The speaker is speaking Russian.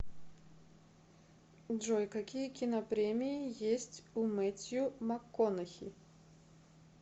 джой какие кинопремии есть у мэттью макконахи